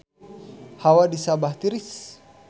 Hawa di Sabah tiris